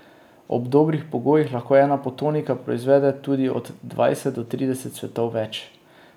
Ob dobrih pogojih lahko ena potonika proizvede tudi od dvajset do trideset cvetov več.